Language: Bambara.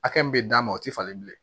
Hakɛ min bɛ d'a ma o tɛ falen bilen